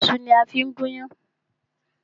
Ìṣu ni a fí gún yán.